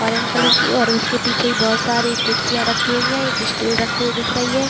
Orange colour की और उसके पीछे बोहत सारी कुर्सियाँ रखी हुई हैं एक स्टूल रखी हुई दिख रही है ।